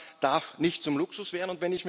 Autofahren darf nicht zum Luxus werden.